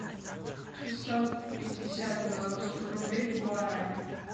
шестьсот пятьдесят белорусских рублей в гуарани